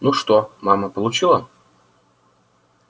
ну что мама получила